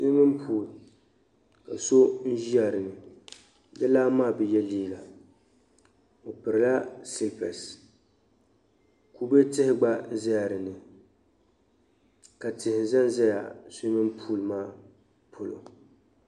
suwimini puul ka so ʒila dini di lana maa bɛ ye liiga o pirila silipesi kube tihi gba zala dini ka tihi zan zaya suwimin puul maa polo